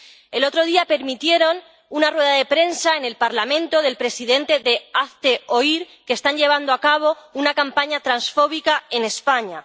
El otro día permitieron una rueda de prensa en el Parlamento del presidente de Hazte Oír, que está llevando a cabo una campaña transfóbica en España.